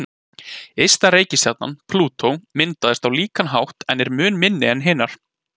Ysta reikistjarnan, Plútó, myndaðist á líkan hátt en er mun minni en hinar.